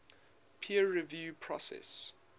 peer review process